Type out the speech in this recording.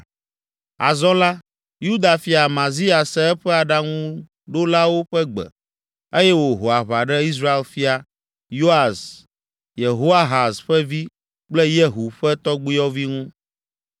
Azɔ la, Yuda fia, Amazia, se eƒe aɖaŋuɖolawo ƒe gbe eye wòho aʋa ɖe Israel fia, Yoas, Yehoahaz ƒe vi kple Yehu ƒe tɔgbuiyɔvi ŋu.